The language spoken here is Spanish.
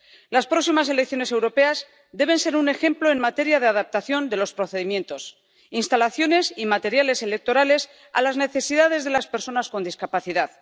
Las próximas elecciones europeas deben ser un ejemplo en materia de adaptación de los procedimientos, las instalaciones y los materiales electorales a las necesidades de las personas con discapacidad.